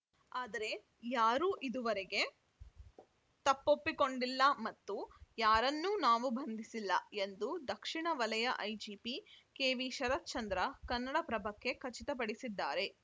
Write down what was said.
ಆದರೆ ಯಾರೂ ಇದುವರಗೆ ತಪ್ಪೊಪ್ಪಿಕೊಂಡಿಲ್ಲ ಮತ್ತು ಯಾರನ್ನೂ ನಾವು ಬಂಧಿಸಿಲ್ಲ ಎಂದು ದಕ್ಷಿಣ ವಲಯ ಐಜಿಪಿ ಕೆವಿಶರತ್‌ಚಂದ್ರ ಕನ್ನಡಪ್ರಭಕ್ಕೆ ಖಚಿತಪಡಿಸಿದ್ದಾರೆ